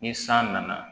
Ni san nana